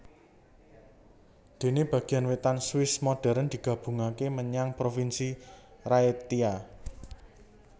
Dene bagian wetan Swiss modern digabungake menyang Provinsi Raetia